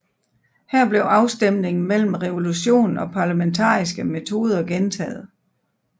Her blev afstemningen mellem revolution og parlamentariske metoder gentaget